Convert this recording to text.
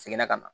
Seginna ka na